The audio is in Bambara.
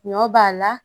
Ɲɔ b'a la